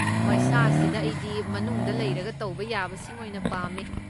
ꯃꯩꯁꯥꯁꯤꯗ ꯑꯩꯗꯤ ꯃꯅꯨꯡꯗ ꯂꯩꯔꯒ ꯇꯧꯕ ꯌꯥꯕꯁꯤꯡ ꯑꯣꯏꯅ ꯄꯥꯝꯃꯦ꯫